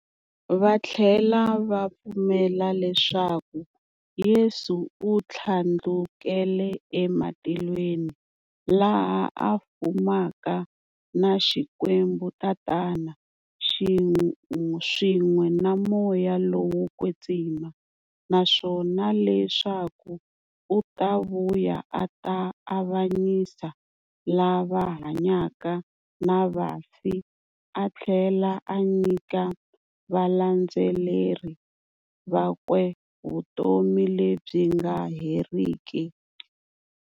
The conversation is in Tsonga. Vathlela va pfumela leswaku Yesu u thlandlukele ematilweni, laha a fumaka na Xikwembu-Tatana, swin'we na Moya lowo kwetsima, naswona leswaku u ta vuya a ta avanyisa lava hanyaka na vafi atlhela a nyika valandzeri vakwe vutomi lebyi nga heriki.